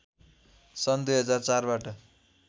सन् २००४ बाट